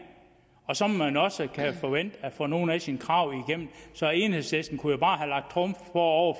og så må man også kunne forvente at få nogle af sine krav igennem så enhedslisten kunne jo bare have lagt trumf på og